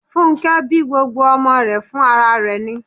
Fúnnkẹ́ bí gbogbo ọmọ rẹ̀ fún ara rẹ̀ ni